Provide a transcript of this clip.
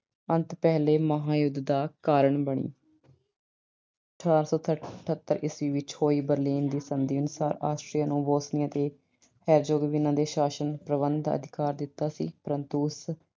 ਅੰਤ ਪਹਿਲੇ ਮਹਾਂਯੁਧ ਦਾ ਕਾਰਨ ਬਣੀ। ਅਠਾਰਾਂ ਸੌ ਅਠਤਰ ਈਸਵੀ ਵਿੱਚ ਹੋਈ Berlin ਦੀ ਸੰਧੀ ਅਨੁਸਾਰ Austria ਨੂੰ Bosnia ਤੇ Herzegovina ਦੇ ਸ਼ਾਸਨ ਪ੍ਰਬੰਧ ਦਾ ਅਧਿਕਾਰ ਦਿੱਤਾ ਸੀ। ਪਰੰਤੂ ਉਸ